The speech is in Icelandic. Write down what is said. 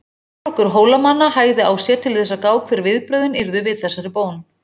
Herflokkur Hólamanna hægði á sér til þess að gá hver viðbrögðin yrðu við þessari bón.